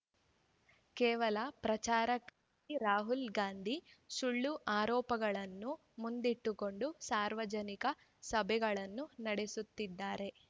ಕೇವಲ ಪ್ರಚಾರಕ್ಕಾಗಿ ರಾಹುಲ್‌ ಗಾಂಧಿ ಸುಳ್ಳು ಆರೋಪಗಳನ್ನು ಮುಂದಿಟ್ಟುಕೊಂಡು ಸಾರ್ವಜನಿಕ ಸಭೆಗಳನ್ನು ನಡೆಸುತ್ತಿದ್ದಾರೆ